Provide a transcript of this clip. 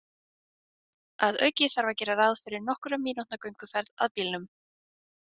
Að auki þarf að gera ráð fyrir nokkurra mínútna gönguferð að bílnum.